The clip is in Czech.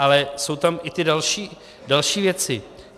Ale jsou tam i ty další věci.